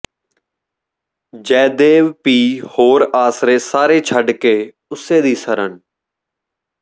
ਜੈਦੇਵ ਭੀ ਹੋਰ ਆਸਰੇ ਸਾਰੇ ਛੱਡ ਕੇ ਉਸੇ ਦੀ ਸਰਨ